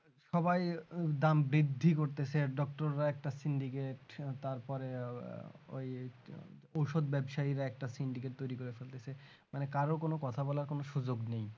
সবাই দাম বৃদ্ধি করতেছে doctor রা একটা syndicate তারপরে ওই ঔষধ ব্যবসায়ীরা syndicate তৈরি করেছে ফেলেছে মানে কারো কোন কথা বলার সুযোগ নেই